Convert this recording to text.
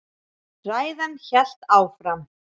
Ræðan hélt áfram: